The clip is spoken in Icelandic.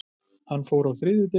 Hann fór á þriðjudegi.